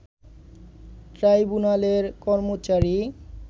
ট্রাইবুনালের কর্মচারী